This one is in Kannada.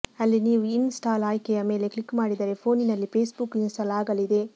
ಅಲ್ಲಿ ನೀವು ಇನ್ ಸ್ಟಾಲ್ ಆಯ್ಕೆಯ ಮೇಲೆ ಕ್ಲಿಕ್ ಮಾಡಿದರೆ ಫೋನಿನಲ್ಲಿ ಫೇಸ್ಬುಕ್ ಇನ್ ಸ್ಟಾಲ್ ಆಗಲಿದೆ